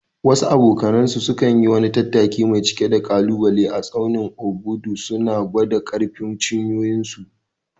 Wasu abokanansu suka yi wani tattaki mai cike da ƙalubale a tsaunin Obudu, suna gwada ƙarfin cinyoyinsu.